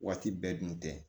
Waati bɛɛ dun tɛ